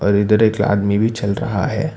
इधर एक आदमी भी चल रहा है।